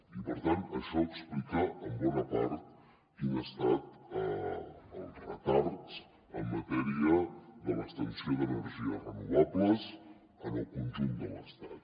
i per tant això explica en bona part quin ha estat el retard en matèria de l’extensió d’energies renovables en el conjunt de l’estat